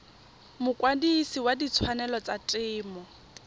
mokwadise wa ditshwanelo tsa temo